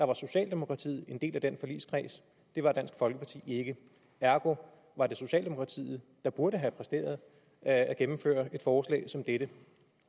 var socialdemokratiet en del af den forligskreds det var dansk folkeparti ikke ergo var det socialdemokratiet der burde have præsteret at gennemføre et forslag som dette